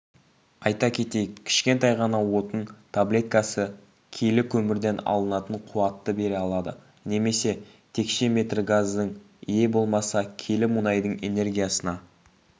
айта кетейік кішкентай ғана отын таблеткасы келі көмірден алынатын қуатты бере алады немесе текше метр газдың иә болмаса келі мұнайдың энергиясына